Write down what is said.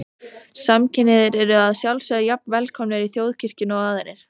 Samkynhneigðir eru að sjálfsögðu jafn velkomnir í Þjóðkirkjuna og aðrir.